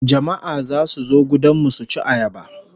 Jama'a zasu zo gudan mu suci ayaba